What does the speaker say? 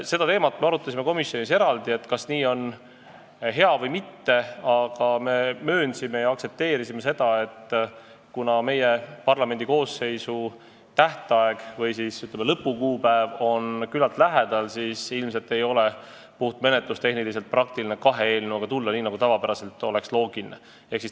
Seda teemat me arutasime komisjonis eraldi, kas nii on hea või mitte, aga me möönsime ja aktsepteerisime seda, et kuna parlamendikoosseisu töö lõpu kuupäev on küllalt lähedal, siis ilmselt ei ole menetlustehniliselt praktiline tulla kahe eelnõuga, nii nagu tavapäraselt oleks loogiline.